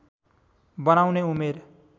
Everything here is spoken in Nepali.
बनाउने उमेर